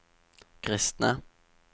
kristne